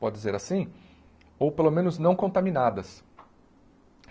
pode dizer assim, ou pelo menos não contaminadas.